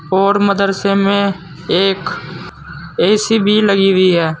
और मदरसे में एक ए_सी भी लगी हुई है।